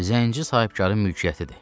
Zənci sahibkarın mülkiyyətidir.